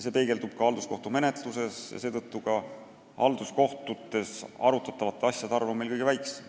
See peegeldub ka halduskohtumenetluses: halduskohtutes arutatavate asjade arv on meil kõige väiksem.